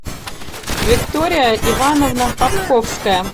виктория ивановна попковская